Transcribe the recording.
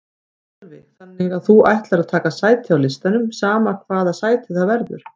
Sölvi: Þannig að þú ætlar að taka sæti á listanum sama hvaða sæti það verður?